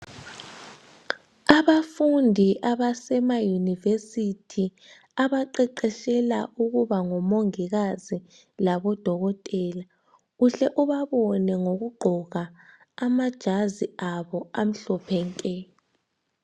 Abafundi abasema university abaqeqetshela ukuba ngomongikazi labo odokotela uhle ubabone ngokugqoka amajazi abo amhlophe nke.